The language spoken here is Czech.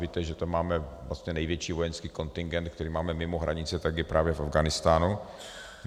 Víte, že tam máme vlastně největší vojenský kontingent, který máme mimo hranice, tak je právě v Afghánistánu.